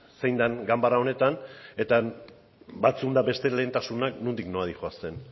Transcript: zein den ganbara honetan batzuen eta besteen lehentasunak nondik nora doazen